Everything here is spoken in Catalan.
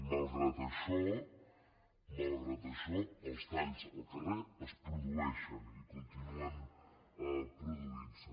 i malgrat això malgrat això els talls al carrer es produeixen i continuen produintse